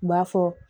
U b'a fɔ